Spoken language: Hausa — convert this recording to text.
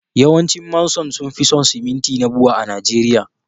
yawancin Manson sun fi son siminti na Bua a Najeriya